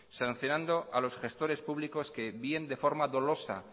sancionando a los gestores públicos que bien de forma dolosa